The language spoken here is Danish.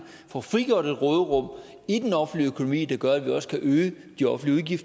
få frigjort et råderum i den offentlige økonomi der gør at vi også kan øge de offentlige